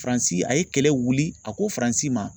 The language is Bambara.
Faransi a ye kɛlɛ wuli a ko Faransi ma